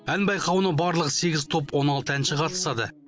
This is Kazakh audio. ән байқауының барлығы сегіз топ он алты әнші қатысады